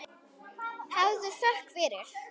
Hafðu þökk fyrir.